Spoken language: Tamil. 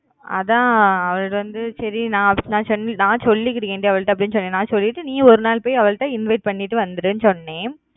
அதான் அவளுக்கு வந்து சரி நான் சொன்னேன் நான் சொல்லிக்குறேன் டி அவகிட்ட அப்பிடின்னு நான் சொல்லிட்டு நீயும் பொய் ஒருநாள் அவகிட்ட invite பண்ணிட்டு வந்துடுன்னு சொன்னேன்